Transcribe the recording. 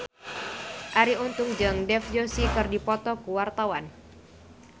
Arie Untung jeung Dev Joshi keur dipoto ku wartawan